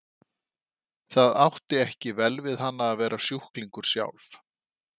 Það átti ekki vel við hana að vera sjúklingur sjálf.